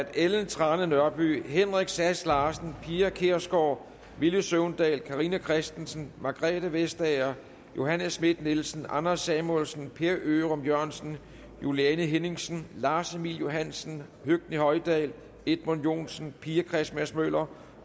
ellen trane nørby henrik sass larsen pia kjærsgaard villy søvndal carina christensen margrethe vestager johanne schmidt nielsen anders samuelsen per ørum jørgensen juliane henningsen lars emil johansen høgni hoydal edmund joensen pia christmas møller